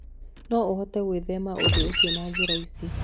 No ũhote gwĩthema ũndũ ũcio na njĩra ici: